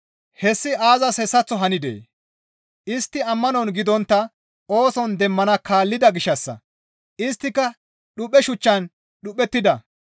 Hessi aazas hessaththo hanidee? Istti ammanon gidontta ooson demmana kaallida gishshassa; isttika dhuphe shuchchan dhuphettida.